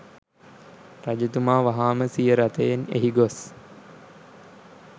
රජතුමා වහාම සිය රථයෙන් එහි ගොස්